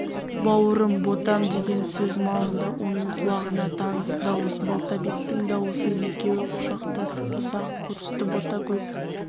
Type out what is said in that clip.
бауырым ботам деген сөз малынды оның құлағына таныс дауыс балтабектің дауысы екеуі құшақтасып ұзақ көрісті ботагөз